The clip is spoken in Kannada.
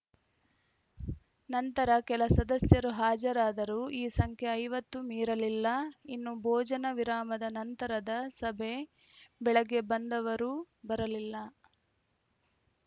ನಂತರ ಕೆಲ ಸದಸ್ಯರು ಹಾಜರಾದರೂ ಈ ಸಂಖ್ಯೆ ಐವತ್ತು ಮೀರಲಿಲ್ಲ ಇನ್ನು ಭೋಜನ ವಿರಾಮದ ನಂತರದ ಸಭೆಗೆ ಬೆಳಗ್ಗೆ ಬಂದವರೂ ಬರಲಿಲ್ಲ